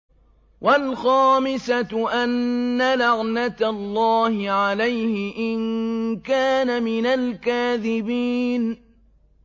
وَالْخَامِسَةُ أَنَّ لَعْنَتَ اللَّهِ عَلَيْهِ إِن كَانَ مِنَ الْكَاذِبِينَ